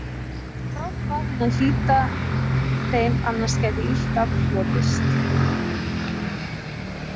Hún grátbað hann að hlíta þeim annars gæti illt af hlotist